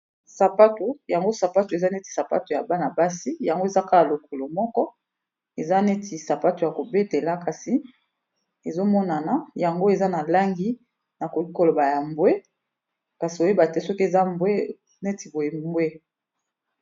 Yango sapato eza neti sapato ya bana-basi yango eza kaka lokolo moko eza neti sapato ya kobetela kasi ezomonana yango eza na langi nakoki koloba ya mbwe kasi oyeba te soki eza mbwe neti boye mbwe.